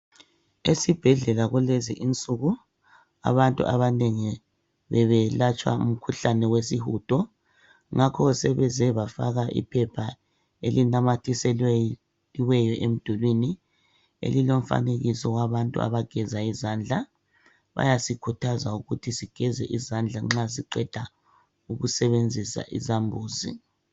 Esibhedlela kulezi insuku abantu abanengi bebelatshwa umkhuhlane wesihudo. Ngakho sebeze bafaka iphepha elinanyathiselweyo emdulwini elilomfanekiso wabantu abageza izandla. Bayasikhuthaza ukuba sigeze izandla nxa siqeda ukusebenzisa isambuzi.